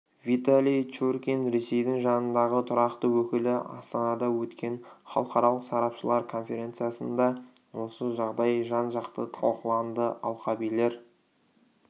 виталий чуркин ресейдің жанындағы тұрақты өкілі астанада өткен халықаралық сарапшылар конференциясында осы жағдай жан-жақты талқыланды алқабилер